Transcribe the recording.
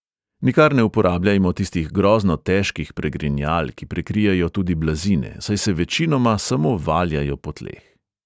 Nikar ne uporabljajmo tistih grozno težkih pregrinjal, ki prekrijejo tudi blazine, saj se večinoma samo valjajo po tleh.